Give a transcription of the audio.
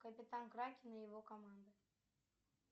капитан кракен и его команда